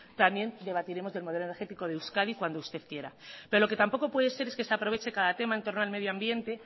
también debatiremos del modelo energético de euskadi cuando usted quiera pero lo que tampoco puede ser es que se aproveche cada tema entorno al medio ambiente